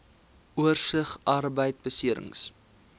oorsig arbeidbeserings